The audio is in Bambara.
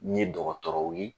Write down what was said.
N ye dɔgɔtɔrɔw ye